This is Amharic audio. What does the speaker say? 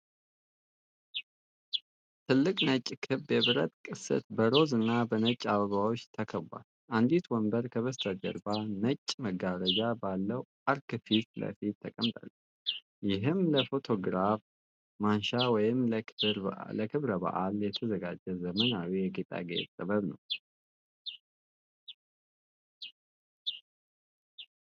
ትልቅ ነጭ ክብ የብረት ቅስት በሮዝ እና በነጭ አበባዎች ተከቧል። አንዲት ወንበር ከበስተጀርባ ነጭ መጋረጃ ባለው አርክ ፊት ለፊት ተቀምጣለች። ይህም ለፎቶግራፍ ማንሻ ወይም ለክብረ በዓል የተዘጋጀ ዘመናዊ የጌጣጌጥ ጥበብ ነው።